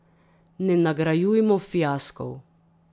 Ne nagrajujmo fiaskov.